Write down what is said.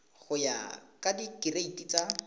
go ya ka direiti tsa